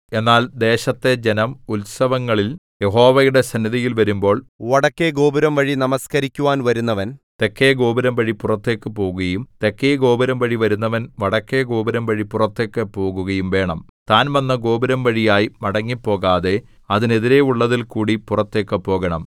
എന്നാൽ ദേശത്തെ ജനം ഉത്സവങ്ങളിൽ യഹോവയുടെ സന്നിധിയിൽ വരുമ്പോൾ വടക്കെ ഗോപുരംവഴി നമസ്കരിക്കുവാൻ വരുന്നവൻ തെക്കെഗോപുരം വഴി പുറത്തേക്ക് പോകുകയും തെക്കെഗോപുരം വഴി വരുന്നവൻ വടക്കെ ഗോപുരംവഴി പുറത്തേക്ക് പോകുകയും വേണം താൻ വന്ന ഗോപുരംവഴിയായി മടങ്ങിപ്പോകാതെ അതിനെതിരെയുള്ളതിൽകൂടി പുറത്തേക്ക് പോകണം